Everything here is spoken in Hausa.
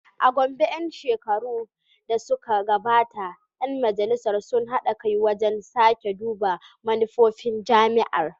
A Gombe, a ‘yan shekarun da suka gabata, ‘yan Majalisar sun haɗa kai wajen sake duba manufofin jami’ar.